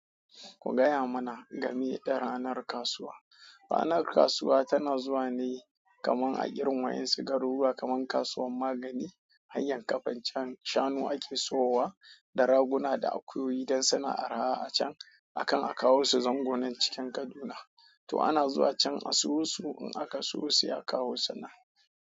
Ku gaya mana game da ranar kasuwa. Ranar kasuwa tana zuwa ne kaman a girmayen sigaruruwa kamar kasuwar Magani, hanyar Kafanchan shanu ake sowawa da raguna da akuyoyi don sana'ar ha'a a can a kan a kawo su zango nan cikin Kaduna. Toh ana zuwa can a siyo su in aka siyo sai a kawo su nan.